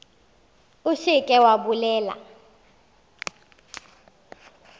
o se ke wa bolela